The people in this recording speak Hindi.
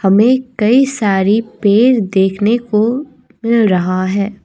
हमें कई सारी पेड़ देखने को मिल रहा है।